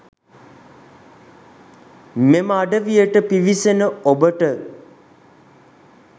මෙම අඩවියට පිවිසෙන ඔබට